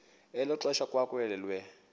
elo xesha kwamkelwe